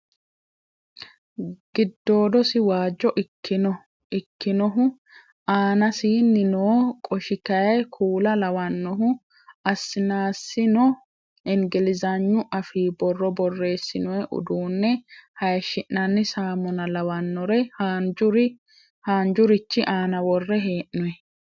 Giddodosi waajjo ikkinohi aanasini noo qoshi kayii kuula lawannohu asnasino ingilizhagnu afii borro borreessinoyi uduunne hayiishi'nanni saammuna lawannore haanjurich aana worre hee'noyi.